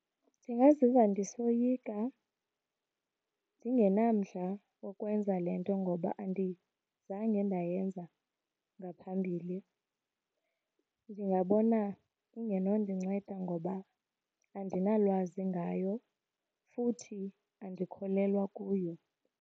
Ndingaziva ndisoyika, ndingenamdla wokwenza le nto ngoba andizange ndayenza ngaphambili. Ndingabona ingenondinceda ngoba andinalwazi ngayo futhi andikholelwa kuyo.